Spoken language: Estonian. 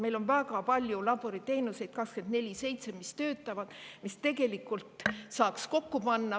Meil on väga palju laboriteenuseid, mis 24/7 töötavad ja mida tegelikult saaks kokku panna.